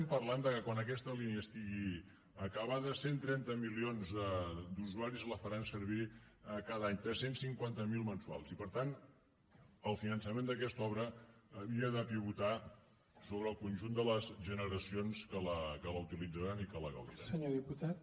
parlem que quan aquesta línia estigui acabada cent i trenta milions d’usuaris la faran servir cada any tres cents i cinquanta miler mensuals i per tant el finançament d’aquesta obra havia de pivotar sobre el conjunt de les generacions que la utilitzaran i que la gaudiran